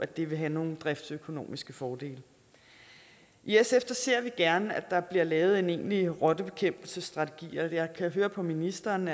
det vil have nogle driftsøkonomiske fordele i sf ser vi gerne at der bliver lavet en egentlig rottebekæmpelsesstrategi jeg kan høre på ministeren